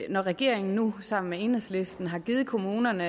når regeringen nu sammen med enhedslisten har givet kommunerne